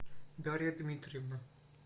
дарья дмитриевна